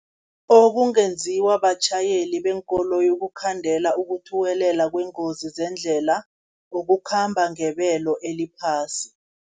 Okungenziwa batjhayeli beenkoloyi, ukukhandela ukuthuwelela kwengozi zendlela, ukukhamba ngebelo eliphasi.